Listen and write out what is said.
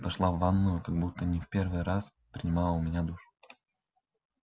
дошла в ванную как будто не в первый раз принимала у меня душ